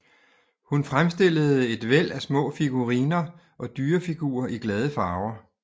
Hun fremstillede et væld af små figuriner og dyrefigurer i glade farver